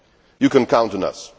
You can count on us.